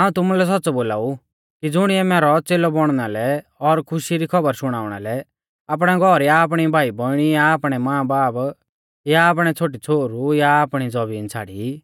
हाऊं तुमुलै सौच़्च़ौ बोलाऊ कि ज़ुणिऐ मैरौ च़ेलौ बौणना लै और खुशी री खौबर शुणाउणा लै आपणै घौर या आपणी भाईबौइणी या आपणै मांबाब या आपणै छ़ोटीछ़ोहरु या आपणी जमीन छ़ाड़ाई